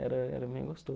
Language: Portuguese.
Era era bem